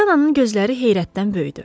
Polyanın gözləri heyrətdən böyüdü.